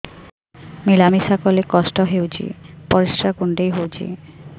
ମିଳା ମିଶା କଲେ କଷ୍ଟ ହେଉଚି ପରିସ୍ରା କୁଣ୍ଡେଇ ହଉଚି